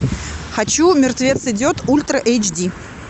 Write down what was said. хочу мертвец идет ультра эйч ди